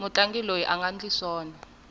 mutlangi loyi anga ndli swona